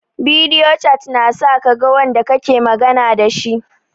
Bidiyo cat na sa kaga wanda kake magana dashi